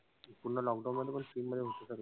पूर्ण lockdown मध्ये पण free मध्ये गोष्टी सर्व.